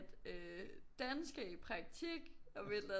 Øh Dan skal i praktik om et eller andet